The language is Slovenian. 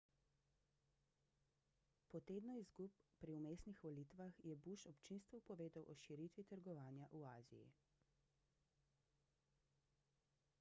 po tednu izgub pri vmesnih volitvah je bush občinstvu povedal o širitvi trgovanja v aziji